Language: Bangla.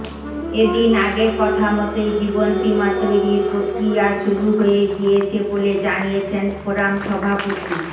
এদিন আগের কথা মতোই জীবন বিমা তৈরির প্রক্রিয়া শুরু হয়ে গিয়েছি বলে জানিয়েছেন ফোরাম সভাপতি